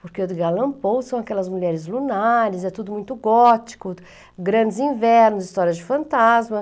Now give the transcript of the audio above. Porque o Edgar Alan Paul são aquelas mulheres lunares, é tudo muito gótico, grandes invernos, histórias de fantasma.